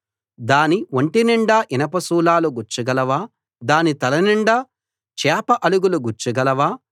దాని ఒంటినిండా ఇనప శూలాలు గుచ్చగలవా దాని తలనిండా చేప అలుగులు గుచ్చగలవా